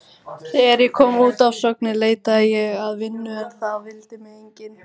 Þegar ég kom út af Sogni leitaði ég að vinnu en það vildi mig enginn.